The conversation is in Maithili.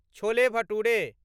छोले भटुरे